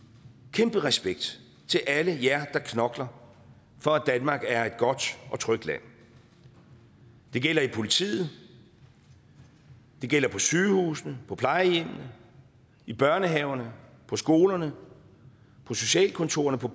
kæmpe respekt til alle jer der knokler for at danmark er et godt og trygt land det gælder i politiet det gælder på sygehusene på plejehjemmene i børnehaverne på skolerne på socialkontorerne på